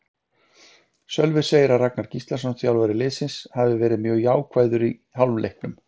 Sölvi segir að Ragnar Gíslason, þjálfari liðsins, hafi verið mjög jákvæður í hálfleiknum.